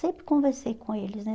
Sempre conversei com eles, né?